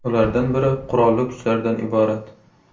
Ulardan biri qurolli kuchlardan iborat.